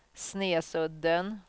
Snesudden